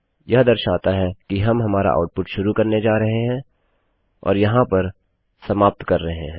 यह दर्शाता है कि हम हमारा आउटपुट शुरू करने जा रहें हैं और यहाँ पर समाप्त कर रहे हैं